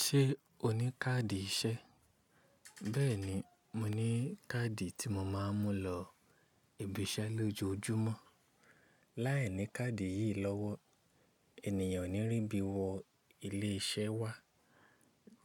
Ṣé o ní káàdì iṣẹ́? Bẹ́ẹ̀ni, mo ní káàdì tí mo máa ń mú lọ ibi iṣẹ́ lójoojúmọ́. Láìní káàdì yìí lọ́wọ́, ènìyàn o ní rí bí wọ ilé iṣẹ́ wá.